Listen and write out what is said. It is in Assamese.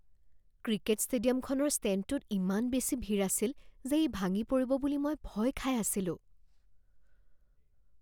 ক্ৰিকেট ষ্টেডিয়ামখনৰ ষ্টেণ্ডটোত ইমান বেছি ভিৰ আছিল যে ই ভাঙি পৰিব বুলি মই ভয় খাই আছিলোঁ